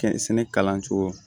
Kɛn sɛnɛ kalancogo